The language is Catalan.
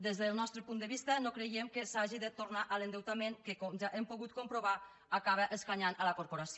des del nostre punt de vista no creiem que s’hagi de tornar a l’endeutament que com ja hem pogut comprovar acaba escanyant la corporació